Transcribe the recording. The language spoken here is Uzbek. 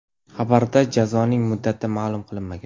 Xabarda jazoning muddati ma’lum qilinmagan.